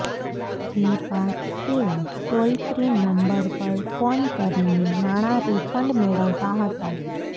જે બાદ તેઓ ટોલ ફ્રી નંબર પર ફોન કરીને નાણાં રિફંડ મેળવતા હતાં